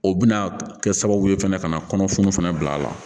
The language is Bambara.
O bɛna kɛ sababu ye fɛnɛ ka na kɔnɔfun fana bila la